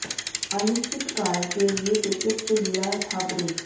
अनिश्चितकाल के लिए क्रिकेट से लिया था ब्रेक